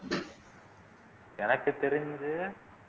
எனக்கு தெரிஞ்சு